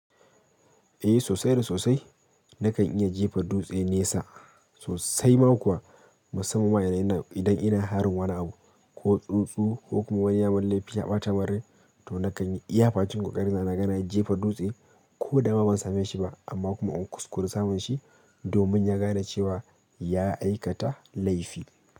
Eh sosai da sosai nakan iya jefa dutse nesa sosai ma kuwa musamman idan ina harin wani abu ko tsuntsu ko kuma wani yaman laifi ya ɓata mun rai to nakan iya bakin ƙoƙari na naga na jefa dutse ko da ma ban same shi ba amma kuma in kuskure samun shi domin ya gane cewa ya aikata laifi.